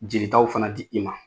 Jelitaw fana di i ma